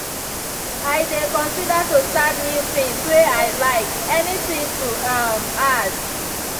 i dey consider to start new things way i like; any thing to um add.